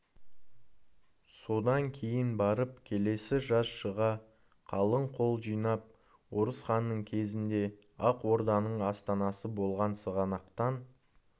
содан кейін барып келесі жаз шыға қалың қол жинап орысханның кезінде ақ орданың астанасы болған сығанақтан